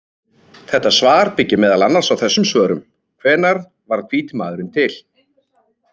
Þetta svar byggir meðal annars á þessum svörum: Hvenær varð hvíti maðurinn til?